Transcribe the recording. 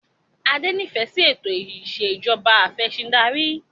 Adé nifẹ si ètò ìsèjọba afẹ̀sindarí